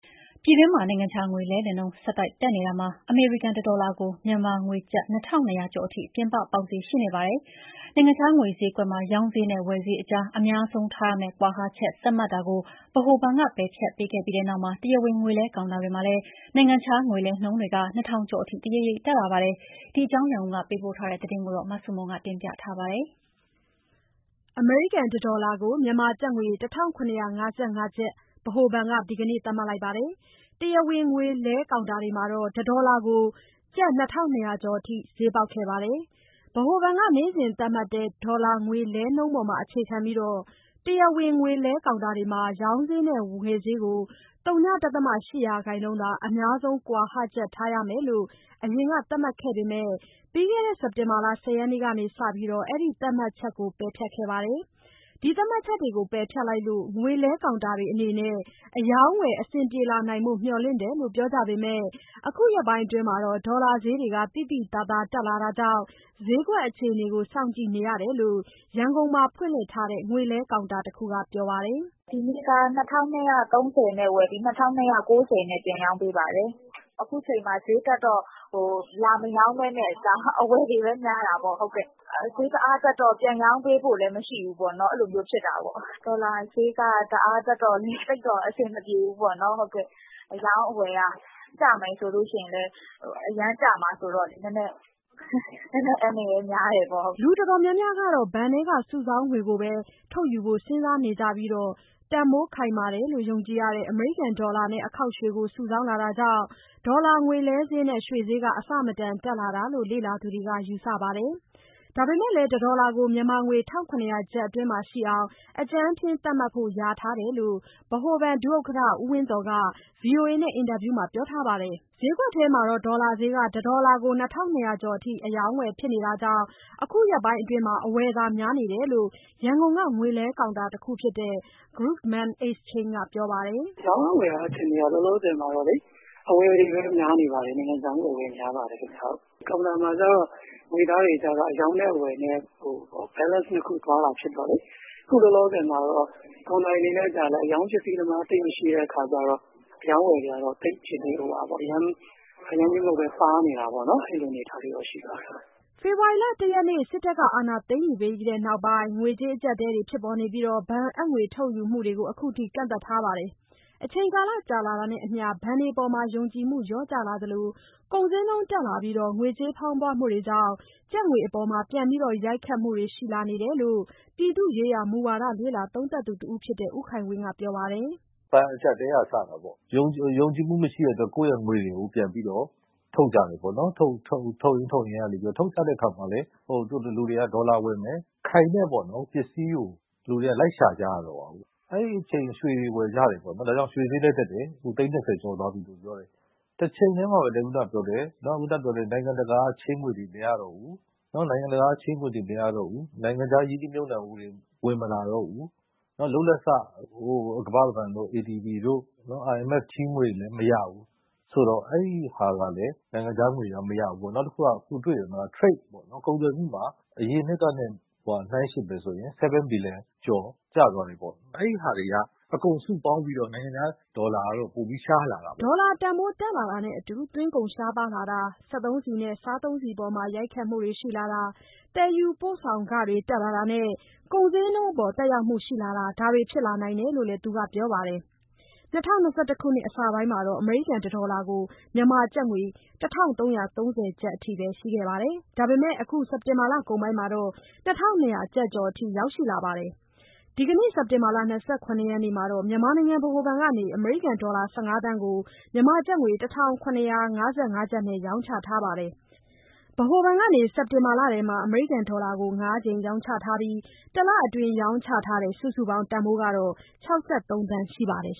ပြည်တွင်းမှာ နိုင်ငံခြားငွေလဲလှယ်နှုန်း ဆက်တိုက်တက်နေတာမှာ အမေရိကန်တဒေါ်လာကို မြန်မာငွေ ကျပ် ၂,၂၀၀ ကျော်အထိ ပြင်ပပေါက်ဈေးရှိနေပါတယ်။ နိုင်ငံခြားငွေဈေးကွက်မှာ ရောင်းဈေးနဲ့ ဝယ်ဈေးအကြား အများဆုံးထားရမယ့် ကွာဟချက် သတ်မှတ်တာကို ဗဟိုဘဏ်က ပယ်ဖျက်ပေးခဲ့ပြီးနောက်မှာ တရားဝင်ငွေလဲကောင်တာတွေမှာလည်း နိုင်ငံခြားငွေလဲနှုန်းတွေ ၂,၀၀၀ ကျော်အထိ တရိပ်ရိပ်တက်လာပါတယ်။ ဒီအကြောင်း ရန်ကုန်က ပေးပို့တဲ့သတင်း မဆုမွန်ပြောပြပေးပါမယ်။ အမေရိကန်တဒေါ်လာကို မြန်မာငွေ ၁,၇၅၅ ကျပ် ဗဟိုဘဏ်က ဒီနေ့ သတ်မှတ်ခဲ့ပြီး တရားဝင်ငွေလဲကောင်တာတွေမှာတော့ တဒေါ်လာကို ကျပ် ၂,၂၀၀ ကျော်အထိ ဈေးပေါက်ခဲ့ပါတယ်။ ဗဟိုဘဏ်က နေ့စဉ်သတ်မှတ်တဲ့ ဒေါ်လာငွေလဲနှုန်းပေါ် အခြေ ခံပြီး တရားဝင်ငွေလဲ ကောင်တာတွေမှာ ရောင်းဈေးနဲ့ ဝယ်ဈေးကို ဝ.၈ ရာခိုင်နှုန်းသာ အများဆုံး ကွာဟချက်ထားရမယ်လို့ အရင်ကသတ်မှတ်ခဲ့ပေမယ့် ပြီးခဲ့တဲ့ စက်တင်ဘာ ၁၀ ရက်နေ့ ကစပြီး အဲဒီသတ်မှတ်ချက်ကို ပယ်ဖျက်ခဲ့ပါတယ်။ သတ်မှတ် ချက်တွေကို ပယ်ဖျက်လိုက်လို့ ငွေလဲကောင်တာတွေအနေနဲ့ အရောင်းအဝယ်အဆင်ပြေလာနိုင်ဖို့ မျှော်လင့်တယ်လို့ပြောကြပေမယ့် အခုရက်ပိုင်းအတွင်း ဒေါ်လာဈေးတွေ သိသိသာသာတက်လာတာကြောင့် ဈေးကွက်အခြေအနေကို စောင့်ကြည့်နေရတယ်လို့ ရန်ကုန်မှာဖွင့်လှစ်ထားတဲ့ ငွေလဲကောင်တာတခုက ပြောပါတယ်။ "ဒီနေ့က ၂,၂၃၀ နဲ့ ဝယ်ပြီး ၂,၂၉၀ နဲ့ ပြန်ရောင်းပေးပါတယ်။ အခုချိန်မှာ ဈေးတက်တော့ လာမရောင်းဘဲနဲ့ အဝယ်တွေပဲများတာပေါ့။ ဈေးတအားတက်တော့ ပြန်ရောင်းပေးဖို့လည်း မရှိဘူးပေါ့နော်၊ အဲလိုမျိုး ဖြစ်တာပေါ့။ ဒေါ်လာဈေးက တအားတက်တော့လေ သိပ်တော့အဆင်မပြေဘူးပေါ့နော်၊ အရောင်းအဝယ်က။ ကျမယ်ဆိုရင်လည်း အရမ်းကျမှာဆိုတော့လေ နည်းနည်းအန္တရာယ်များတယ်ပေါ့။" လူအတော်များများက ဘဏ်ထဲက စုဆောင်းငွေကိုပဲ ထုတ်ယူဖို့ စဉ်းစားနေကြပြီး တန်ဖိုးခိုင်မာတယ်လို့ ယုံကြည်ရတဲ့ အမေရိကန်ဒေါ်လာနဲ့ အခေါက်ရွှေကို စုဆောင်းလာတာကြောင့် ဒေါ်လာငွေလဲဈေးနဲ့ရွှေဈေး အဆမတန်တက်လာတာလို့ လေ့လာသူတွေက ယူဆပါတယ်။ ဒါပေမယ့်လည်း တဒေါ်လာကို မြန်မာငွေ ၁,၇၀၀ ကျပ်အတွင်းမှာရှိအောင် အကြမ်းဖျဉ်းသတ်မှတ်ဖို့ လျာထားတယ်လို့ ဗဟိုဘဏ် ဒုဥက္ကဋ္ဌ ဦးဝင်းသော်က VOA နဲ့အင်တာဗျူးမှာ ပြောထားပါတယ်။ ဈေးကွက်ထဲမှာတော့ ဒေါ်လာဈေးက တဒေါက် ၂,၂၀၀ ကျော် အထိ အရောင်းအဝယ်ဖြစ်နေတာကြောင့် အခုရက်ပိုင်းအတွင်း အဝယ်သာများနေတယ်လို့ ရန်ကုန်က ငွေလဲကောင်တာတခုဖြစ်တဲ့ Grumman Exchange က ပြောပါတယ်။ "ရောင်းအားဝယ်အားအခြေအနေက လောလောဆယ်မှာတော့လေ အဝယ်တွေပဲများနေတယ်၊ နိုင်ငံခြားငွေ အဝယ်များပါတယ်ခင်ဗျ။ ကောင်တာမှာကျတော့ ငွေသားတွေကျတော့ အရောင်းနဲ့အဝယ် balance နှစ်ခုသွားတာဖြစ်တော့လေ။ အခုလောလောဆယ်မှာတော့ ကောင်တာတွေအနေနဲ့ကျတော့လည်း အရောင်းပစ္စည်းသမား သိပ်မရှိတဲ့အခါကျတော့ အရောင်းအဝယ်တွေကတော့ အရမ်းကြီးမဟုတ်ဘဲ ပါးနေတာပေါ့နော်၊ အဲလိုအနေအထားလေးတော့ ရှိပါတယ်။” ဖေဖော်ဝါရီ ၁ရက်နေ့ စစ်တပ်က အာဏာသိမ်းယူပြီးတဲ့နောက်ပိုင်း ငွေကြေးအကြပ်အတည်းတွေဖြစ်ပြီး ဘဏ်အပ်ငွေ ထုတ်ယူမှုတွေကို အခုထိ ကန့်သတ်ထားပါတယ်။ အချိန်ကာလ ကြာ လာတာနဲ့အမျှ ဘဏ်တွေအပေါ် ယုံကြည်မှုလျော့ကျလာသလို ကုန်ဈေးနှုန်းတက်လာပြီး ငွေကြေးဖောင်းပွမှုကြောင့် ကျပ်ငွေအပေါ်ပြန်ပြီးရိုက်ခတ်မှုရှိလာတာတွေရှိတယ်လို့ ပြည်သူ့ရေးရာမူဝါဒ လေ့လာသုံးသပ်သူတဦးဖြစ်တဲ့ ဦးခိုင်ဝင်းကပြောပါတယ်။ "ဘဏ်အကျပ်အတည်းက စတာပေါ့၊ ယုံကြည်မှုမရှိတဲ့အတွက် ကိုယ့်ရဲ့ငွေတွေကို ပြန်ပြီးတော့ ထုတ်ကြတယ်ပေါ့။ ထုတ်ရင်း ထုတ်ရင်းကနေ ထုတ်ကြပြီး ဒေါ်လာဝယ်မယ်၊ ခိုင်တဲ့ပေါ့နော် ပစ္စည်းကို လူတွေက လိုက်ရှာကြရတာပေါ့။ အဲဒီအချိန် ရွှေတွေဝယ်ကြတယ်၊ ဒါကြောင့် ရွှေဈေးလည်း တက်တယ်၊ အခု သိန်း ၂၀ ကျော်သွားပြီ ပြောတယ်။ တချိန်တည်းမှာပဲ နိုင်ငံတကာက ချေးငွေတွေ မရတော့ဘူး၊ နိုင်ငံခြား ရင်းနှီးမြှုပ်နှံမှုတွေ ဝင်မလာတော့ဘူး၊ လုပ်လက်စ ကမ္ဘာ့ဘဏ်တို့ ADB တို့ IMF ချေးငွေတွေလည်း မရဘူး။ ဆိုတော့ အဲဟာကလည်း နိုင်ငံခြားငွေတွေက မရဘူးပေါ့။ နောက်တခုက ကုန်သွယ်မှုမှာ အရင်နှစ်ကထက် နှိုင်းယှဉ်မယ်ဆိုရင် 7 Billion ကျော် ကျသွားတယ်ပေါ့။ အဲဒီဟာတွေက အကုန်စုပေါင်းပြီးတော့ နိုင်ငံခြား ဒေါ်လာကတော့ ပိုပြီးရှားလာတာပေါ့။” ဒေါ်လာတန်ဖိုး တက်လာတာနဲ့အတူ သွင်းကုန်ရှားပါးလာတာ၊ စက်သုံးဆီနဲ့ စားသုံးဆီအပေါ်မှာ ရိုက်ခတ်မှုတွေ ရှိလာတာ၊ သယ်ယူပို့ဆောင်ခတွေ တက်လာတာနဲ့ ကုန်ဈေးနှုန်းအပေါ် သက်ရောက်မှုရှိလာတာ ဒါတွေ ဖြစ်လာနိုင်တယ်လို့ သူကပြောပါတယ်။ ၂၀၂၁ ခုနှစ်အစပိုင်းမှာ အမေရိကန် တဒေါ်လာကို မြန်မာငွေ ၁,၃၃၀ ကျပ် ရှိခဲ့ပေမယ့် အခု စက်တင်ဘာလကုန်ပိုင်းမှာတော့ ၂,၂၀၀ ကျော်အထိ ရောက်လာပါတယ်။ ဒီနေ့ စက်တင်ဘာ ၂၇ ရက်နေ့မှာ မြန်မာနိုင်ငံ ဗဟိုဘဏ်က အမေရိကန်ဒေါ်လာ ၁၅ သန်းကို ကျပ် ၁,၇၅၅ နဲ့ ရောင်းချထားပါတယ်။ ဗဟိုဘဏ်က စက်တင်ဘာလထဲမှာ အမေရိကန်ဒေါ်လာကို ၅ ကြိမ်ရောင်းချထားပြီး တလအတွင်း ရောင်းချထားတဲ့ စုစုပေါင်းတန်ဖိုးကတော့ ၆၃ သန်းရှိပါတယ်